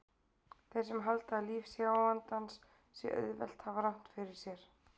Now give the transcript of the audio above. Þeir sem halda að líf sjáandans sé auðvelt hafa rangt fyrir sér.